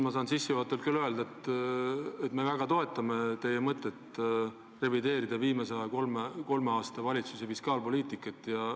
Ma saan sissejuhatavalt öelda, et me väga toetame teie mõtet revideerida viimase kolme aasta valitsuse fiskaalpoliitikat.